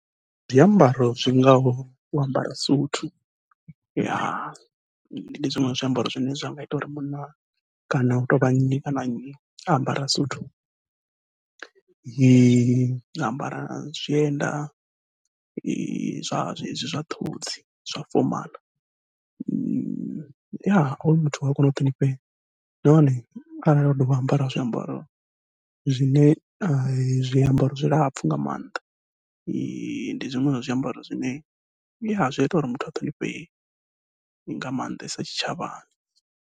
Ndi zwiambaro zwi ngaho u ambara suthu, ya ndi zwiṅwe zwa zwiambaro zwine zwa nga ita uri munna kana u tou vha nnyi na nnyi a ambara suthu a ambara na zwienda zwa zwezwi zwa ṱhodzi zwa fomaḽa, ya hoyu muthu uya kona u ṱhonifhea. Nahone arali o dovha a ambara zwiambaro zwine zwiambaro zwilapfhu nga maanḓa, ndi zwiṅwe zwa zwiambaro zwine zwa ita uri muthu a ṱhonifhee nga maanḓesa tshitshavhani.